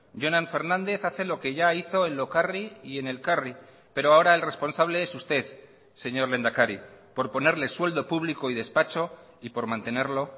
jonan fernández hace lo que ya hizo en lokarri y en elkarri pero ahora el responsable es usted señor lehendakari por ponerle sueldo público y despacho y por mantenerlo